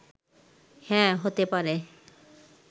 হ্যাঁ, হতে পারে